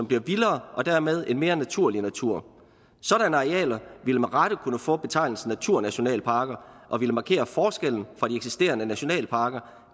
bliver en vildere og dermed en mere naturlig natur sådanne arealer ville med rette kunne få betegnelsen naturnationalparker og ville markere forskellen fra de eksisterende nationalparker